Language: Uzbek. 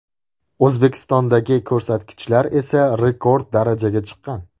O‘zbekistondagi ko‘rsatkichlar esa rekord darajaga chiqqan.